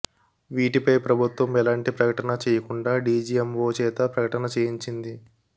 వీటిపై ప్రభుత్వం ఎలాంటి ప్రకటన చేయకుండా డిజిఎమ్ఓ చేతే ప్రకటన చేయించింది